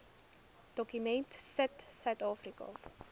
dokument sit suidafrika